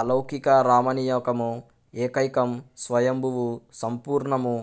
అలౌకిక రామణీయకం ఏకైకం స్వయంభువు సంపూర్ణము